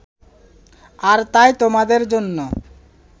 আর তাই তোমাদের জন্য